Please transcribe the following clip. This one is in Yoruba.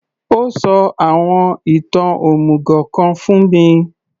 Ó sọ àwọn ìtàn òmùgò kan fún mi